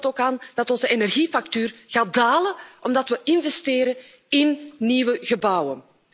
Denk er bijvoorbeeld ook aan dat onze energiefactuur zal dalen omdat we investeren in nieuwe gebouwen.